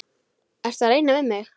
Ertu að reyna við mig?